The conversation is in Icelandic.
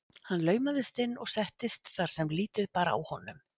Hann laumaðist inn og settist þar sem lítið bar á honum.